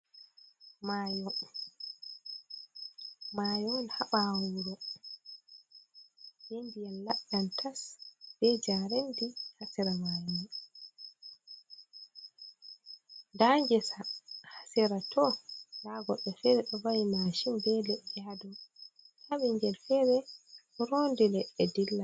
Maayo, Maayo on ha ɓaawa wuro be ndiyam laɗɗam tas, be jareendi ha sera maayo man. Nda ngesa ha sera to. Nda goɗɗo fere ɗo wa'i mashin be leɗɗe. Nda ɓingel fere ɗo roondi leɗɗe dilla.